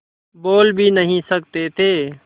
बोल भी नहीं सकते थे